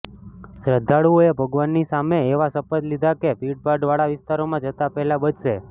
શ્રદ્ધાળુઓએ ભગવાનની સામે એવા શપથ લીધા કે ભીડભાડ વાળા વિસ્તારોમાં જતા પહેલા બચશે